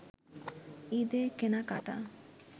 ঈদের কেনাকাটা